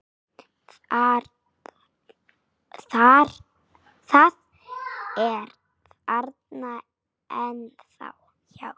Það er þarna ennþá, já.